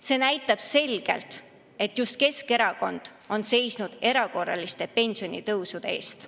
See näitab selgelt, et just Keskerakond on seisnud erakorraliste pensionitõusude eest.